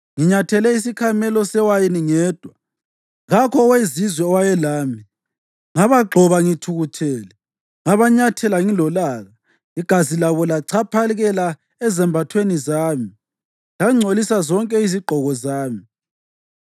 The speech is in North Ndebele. “Nginyathele isikhamelo sewayini ngedwa; kakho owezizwe owayelami. Ngabagxoba ngithukuthele, ngabanyathela ngilolaka; igazi labo lachaphakela ezambathweni zami, langcolisa zonke izigqoko zami.